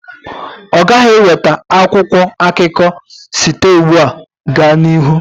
Ọ ghaghị iweta akwụkwọ akụkọ site ugbu a gaa n'ihu.